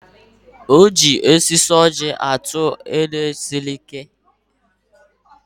E ji osisi ọ́jị̀ atụ ihe siri ike.